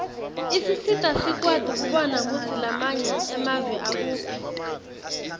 isisita sikwati kubona kutsi lamanye emave akuphi